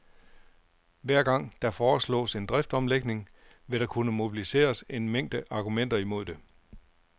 Hver gang, der foreslås en driftsomlægning, vil der kunne mobiliseres en mængde argumenter imod det.